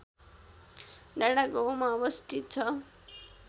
डाँडागाउँमा अवस्थित छ